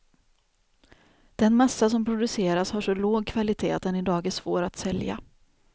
Den massa som produceras har så låg kvalitet att den idag är svår att sälja.